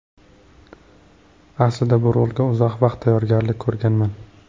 Aslida bu rolga uzoq vaqt tayyorgarlik ko‘rganman.